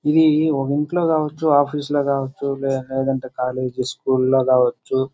ఇది ఒక ఇంట్లో కావచ్చు ఆఫీసు లో కావచ్చు. లేదంటే కాలేజీ స్కూల్లో కావచ్చు.